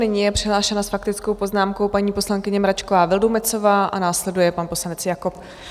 Nyní je přihlášena s faktickou poznámkou paní poslankyně Mračková Vildumetzová a následuje pan poslanec Jakob.